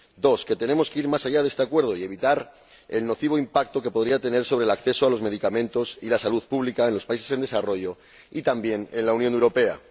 segundo, que tenemos que ir más allá de este Acuerdo y evitar el nocivo impacto que podría tener sobre el acceso a los medicamentos y la salud pública en los países en desarrollo, y también en la Unión Europea.